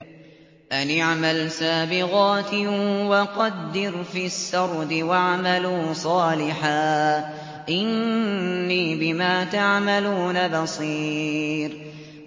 أَنِ اعْمَلْ سَابِغَاتٍ وَقَدِّرْ فِي السَّرْدِ ۖ وَاعْمَلُوا صَالِحًا ۖ إِنِّي بِمَا تَعْمَلُونَ بَصِيرٌ